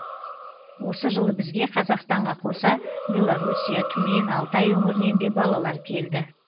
осы жылы бізге қазақстанға қоса беларусия түмен алтай өңірінен де балалар келді